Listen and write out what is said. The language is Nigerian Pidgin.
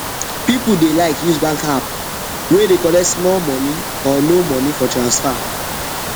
people dey like use bank app wey dey collect small money or no money for transfer